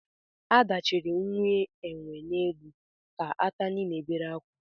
Ada chiri nwa enwe n'elu ka atani na-ebere akwa